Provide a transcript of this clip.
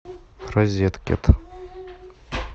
розеткед